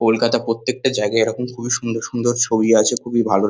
কলকাতা প্রত্যেকটা জায়গায় এরকম খুবই সুন্দর সুন্দর ছবি আছে। খুবই ভালো।